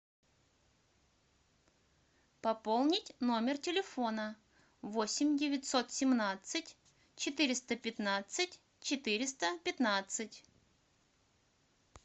пополнить номер телефона восемь девятьсот семнадцать четыреста пятнадцать четыреста пятнадцать